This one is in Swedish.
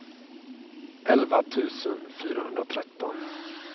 elva tusen fyrahundratretton